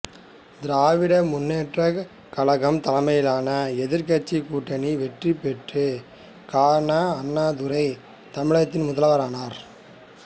திராவிட முன்னேற்றக் கழகம் தலைமையிலான எதிர்க் கட்சிக் கூட்டணி வெற்றி பெற்று கா ந அண்ணாதுரை தமிழகத்தின் முதல்வரானார்